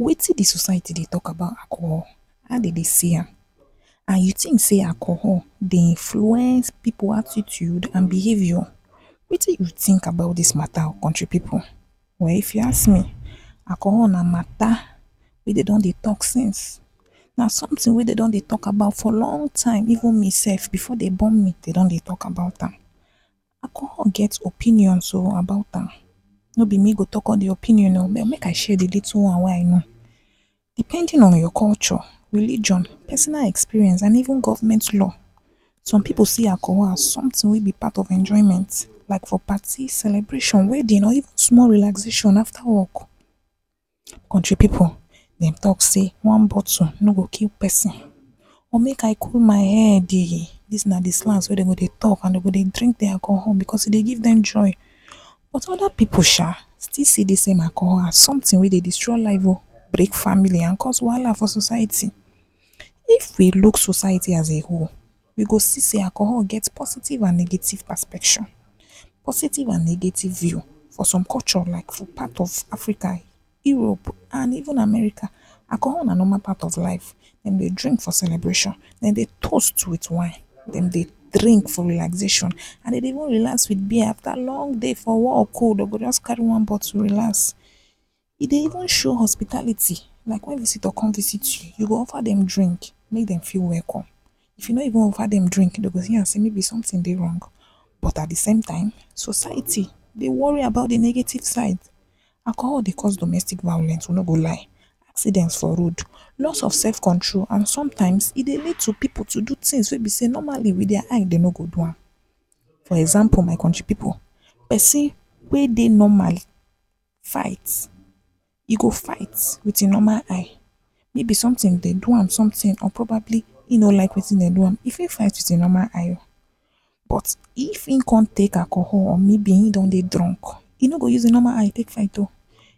Wetin di society dey talk about alcohol? how dem dey see am and you think say alcohol dey influence people attitude and behaviour. wetin you think about dis mata country people? well if you ask me, alcohol na mata wey dem don dey talk since. na something wey dem don dey talk about for long time even me self before dem born me dem don dey talk about am. alcohol get opinions um about am. No be me go talk all di opinions um. Abeg make I share di little one wey I know. Depending on your culture, religion, pesonal experience and even govment law, some pipo see alcohol as something wey be part of enjoyment like for party celebration, wedding or even small relaxation afta wok. Kontri pipo dem tok say one bottle no go kill peson but make I kool my headii, dis na di slangs wey dem go tok and dem go dey drink di alcohol bicos e dey giv dem joy but oda pipo um still see di same alcohol as something wey dey destroy life um break family and cause wahala for society. If we luk society as a whole, we go see say alcohol get positive and negative perspection, positive and negative view. For som culture lyk for part of Africa, Europe and even America alcohol na normal part of life Dem dey dream for celebration dem dey toast wit wine dem dey drink for relaxation and dem dey wan relax wit beer afta long day for wok um dem go just carry one bottle relax. E dey even show hospitality lyk wen visitor come visit you go offer dem drink make dem feel wecome If you no even offer dem drink dem go view am say maybe something dey wrong but at di same tym society dey wori about di negative side. Alcohol dey cause domestic violence we no go lie see dem for road, loss of sef control and sometyms e dey lead to pipo to do tins wey be sey normali wit dia eye dem no go do am. For example my kontri pipu, pesin wey dey normal fight, e go fight with im normal eye, maybe somtin, dey do am somtin or probably e no like wetin dem do am, e fit fight with im normal eye. But if im con take alcohol or maybe e don dey drunk, e no go use im norma eye take fight um,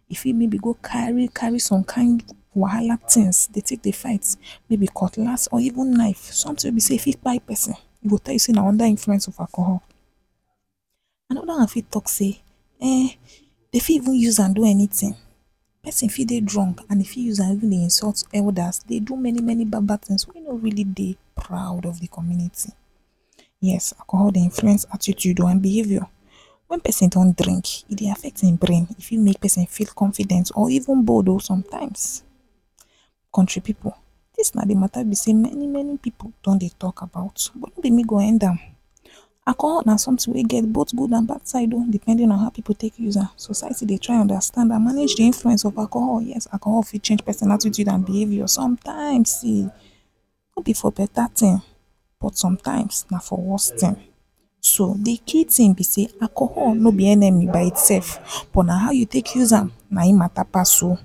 e fit maybe go kari-kari some kind wahala tins de take dey fight. Maybe cutlass or even knife, somtin wey be sey e fit kpai pesin. E go tell you say na unda influence of alcohol. Anoda one fit talk say um dey fit even use am do anytin, peson fit dey drunk and e fit use am even dey insult elders dey do many many bad bad tins wey no really dey proud of di communiti. yes alcohol dey influence attitude um and behavior. Wen peson don drink e dey affect im brain e fit make peson feel confident or even bold um sometyms kontri pipo dis na di mata be say many many pipo don dey talk about am but no be me go end am um alcohol na sometin wey get both gud and bad side um depending on how pipo take use am society dey try and manage di influence of alcohol yes alcohol fit change peson attitude and behavior sometyms um no be for beta tins but sometyms na for worse tin so di key tin bi say alcohol no be enemy by itself but na how you take use am na im mata pass um